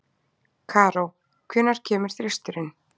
Karó, hvenær kemur þristurinn?